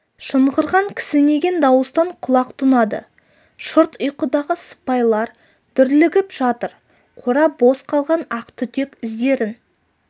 шыңғырған кісінеген дауыстан құлақ тұнады шырт ұйқыдағы сыпайлар дүрлігіп жатыр қора бос қалған ақ түтек іздерін